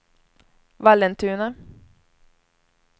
Vallentuna